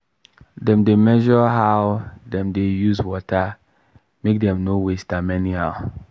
dem dey measure how dem use water make dem no waste am anyhow.